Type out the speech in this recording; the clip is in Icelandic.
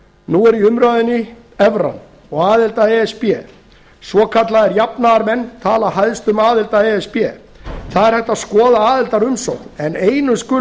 nú er í umræðunni evran og aðild að e s b svokallaðir jafnaðarmenn tala hæst um aðild að e s b það er hægt að skoða aðildarumsókn en einu skulu